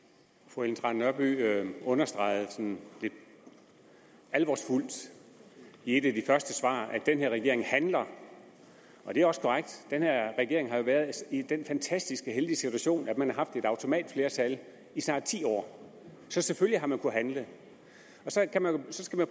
fru ellen trane nørby understregede sådan lidt alvorsfuldt i et af de første svar at den her regering handler det er også korrekt den her regering har jo været i den fantastisk heldige situation at den har haft et automatflertal i snart ti år så selvfølgelig har man kunnet handle så kan man